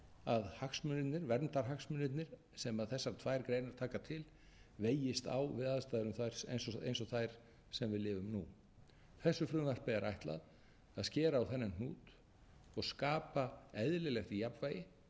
að hagsmunirnir verndarhagsmunirnir sem þessar tvær greinar taka til vegist á við aðstæður eins og þær sem við lifum nú þessu frumvarpi er ætlað að skera á þennan hnút og skapa eðlilegt jafnvægi